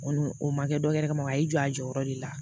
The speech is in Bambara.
O kɔni o ma kɛ dɔwɛrɛ kama a y'i jɔ a jɔyɔrɔ de la